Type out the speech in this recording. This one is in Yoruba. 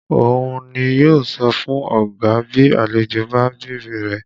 Òun ni yó sọ fún ọ̀gá bí àlejò bá ń bèrè rẹ̀